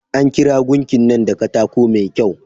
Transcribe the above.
An kera gunkin nan da katako mai kyau.